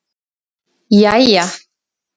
jæja